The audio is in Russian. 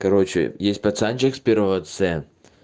короче есть пацанчик с первого ц